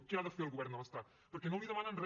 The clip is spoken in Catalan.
què ha de fer el govern de l’estat perquè no li demanen re